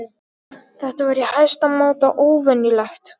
Þetta var í hæsta máta óvenjulegt.